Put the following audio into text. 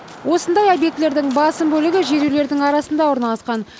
осындай объектілердің басым бөлігі жер үйлердің арасында орналасқан